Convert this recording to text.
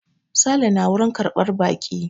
Sale na wurin karɓar baƙi.